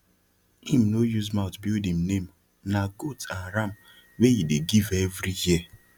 him no use mouth build him name na goat and ram wey he dey give every year